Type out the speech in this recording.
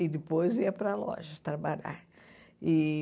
E depois ia para loja trabalhar. E